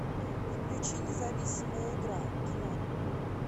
включи независимая игра кино